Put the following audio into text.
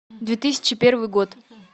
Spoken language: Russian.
две тысячи первый год